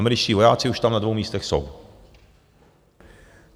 Američtí vojáci už tam na dvou místech jsou.